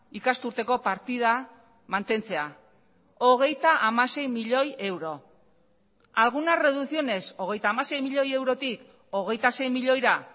ikasturteko partida mantentzea hogeita hamasei milioi euro algunas reducciones hogeita hamasei milioi eurotik hogeita sei milioira